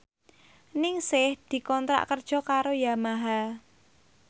Ningsih dikontrak kerja karo Yamaha